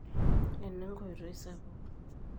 ena enkotoi sapuk